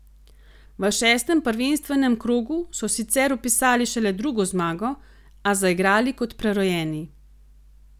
V šestem prvenstvenem krogu so sicer vpisali šele drugo zmago, a zaigrali kot prerojeni.